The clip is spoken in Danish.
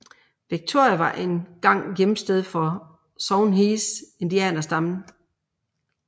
Victoria var en gang hjemsted for Songhees indianerstammen